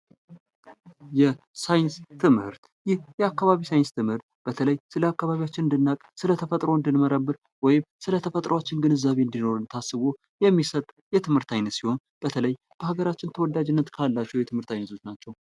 የአካባቢ ሳይንስ ትምህርት ይህ የአካባቢ ሳይንስ ትምህርት በተለይ ስለ አካባቢያችን እንድናውቅ ስለ ተፈጥሮ እንድንመረምር ወይም ስለ ተፈጥሯችን ግንዛቤ እንድኖረን ታስቦ የሚሰጥ የትምህርት አይነት ሲሆን በተለይ በሀገራችን ተወዳጅነት ካላቸው የትምህርት አይነቶች ናቸዉ።